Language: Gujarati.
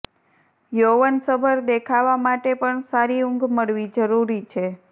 યૌવનસભર દેખાવા માટે પણ સારી ઊંઘ મળવી જરૂરી છે